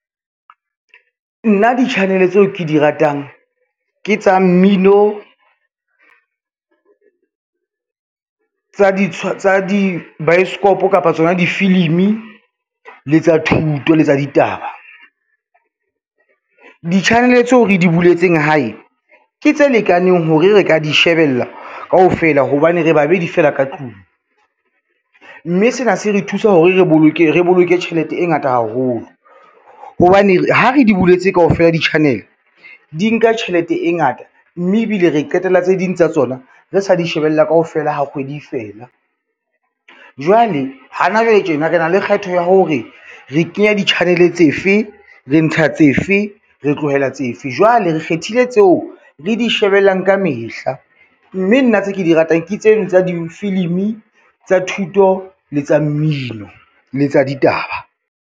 Nna di-channel tseo ke di ratang, ke tsa mmino, tsa dibaesekopo kapa tsona difilimi le tsa thuto le tsa ditaba. Di-channel tseo re di buletseng hae, ke tse lekaneng hore re ka di shebella kaofela hobane re babedi fela ka tlung, mme sena se re thusa hore re boloke tjhelete e ngata haholo, hobane ha re di buletse kaofela di-channel di nka tjhelete e ngata, mme ebile re qetella tse ding tsa tsona re sa di shebella kaofela ha kgwedi e fela. Jwale hana jwale tjena re na le kgetho ya hore re kenya di-channel tse fe, re ntsha tse fe, re tlohela tse fe, jwale re kgethile tseo re di shebellang ka mehla, mme nna tse ke di ratang ke tseno tsa difilimi, tsa thuto, le tsa mmino, le tsa ditaba.